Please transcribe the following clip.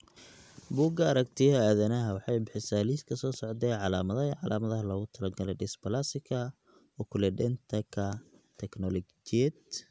Bugga Aragtiyaha Aadanaha waxay bixisaa liiska soo socda ee calaamadaha iyo calaamadaha loogu talagalay dysplasika Oculodentka teknologiyad.